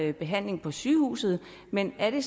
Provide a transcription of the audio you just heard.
det behandling på sygehuset men er det